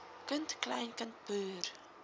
kind kleinkind broer